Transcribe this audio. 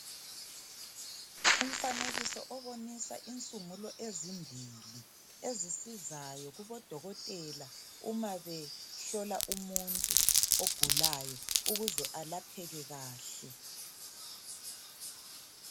Umfanekiso obonisa insungulo ezimbili. Ezisizayo, kubodokotela, uma behlola umuntu ogulayo. Ukuze alapheke kuhle.